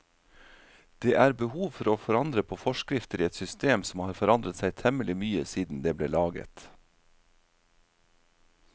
Det er behov for å forandre på forskrifter i et system som har forandret seg temmelig mye siden det ble laget.